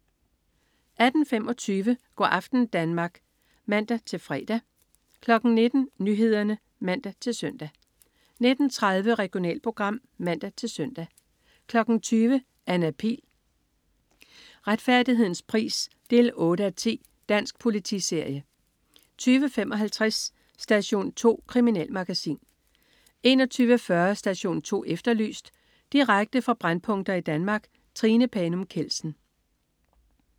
18.25 Go' aften Danmark (man-fre) 19.00 Nyhederne (man-søn) 19.30 Regionalprogram (man-søn) 20.00 Anna Pihl. Retfærdighedens pris 8:10. Dansk politiserie 20.55 Station 2. Kriminalmagasin 21.40 Station 2 Efterlyst. Direkte fra brændpunkter i Danmark. Trine Panum Kjeldsen